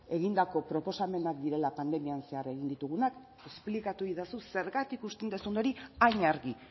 egindako proposamenak direla pandemiaren zehar egin ditugunak esplikatu egidazu zergatik uste duzun hori hain argi